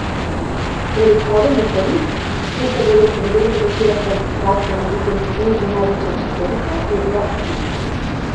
Pred odhodom v Pariz, kjer se bodo v ponedeljek začele kvalifikacije na drugem turnirju največje četverice, je bila optimistična.